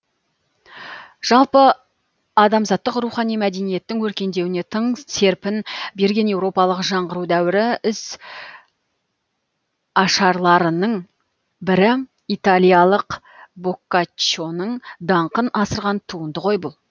жалпы адамзаттық рухани мәдениеттің өркендеуіне тың серпін берген еуропалық жаңғыру дәуірі ізашарларының бірі италиялық боккаччоның даңқын асырған туынды ғой бұл